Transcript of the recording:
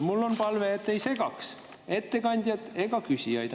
Mul on palve, et te ei segaks ettekandjat ega küsijaid.